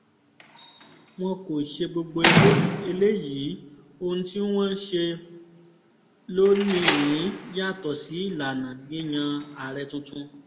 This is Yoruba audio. wọn kò ṣe gbogbo eléyìí ohun tí wọ́n ṣe lónì-ín yàtọ̀ sí ìlànà yíyan aree tuntun